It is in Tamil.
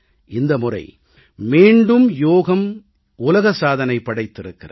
இந்த முறை மீண்டும் யோகம் உலக சாதனை படைத்திருக்கிறது